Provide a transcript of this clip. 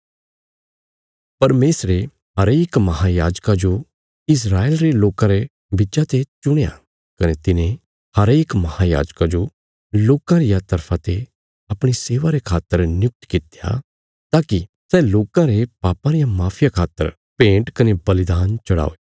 परमेशरे हरेक महायाजका जो इस्राएल रे लोकां रे बिच्चा ते चुणया कने तिने हरेक महायाजका जो लोकां रिया तरफा ते अपणी सेवा रे खातर नियुक्त कित्या ताकि सै लोकां रे पापां रिया माफिया खातर भेंट कने बलिदान चढ़ाये